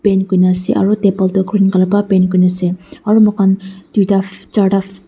paint kurina ase aro table toh green colour pa paint kurinaase aro moi khan tuita charta fa--